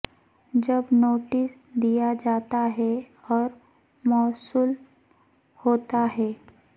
جب نوٹس دیا جاتا ہے اور موصول ہوتا ہے